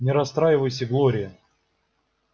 не расстраивайся глория